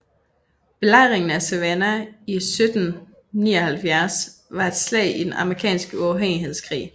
Belejringen af Savannah i 1779 var et slag i den amerikanske uafhængighedskrig